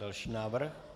Další návrh.